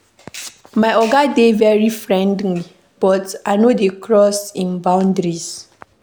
My oga dey very friendly but I no dey cross im boundaries.